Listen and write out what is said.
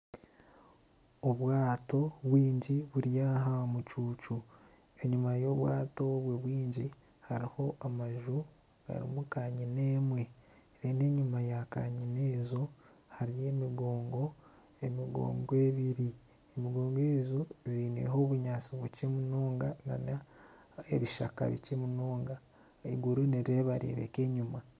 Obwato bwingi buri aha mucuucu enyima y'obwato obwo bwingi hariho amaju garimu kanyina emwe reero enyima ya kanyina ezo hariyo emigoongo, emigoogo ebiri emigoongo egyo eineho obunyaatsi bukye munonga nana ebishaka bikye munonga eiguru nirireebeka enyima